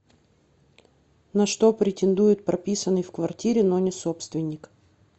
на что претендует прописанный в квартире но не собственник